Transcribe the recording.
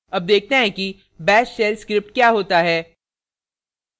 अब देखते हैं कि bash shell script क्या होता है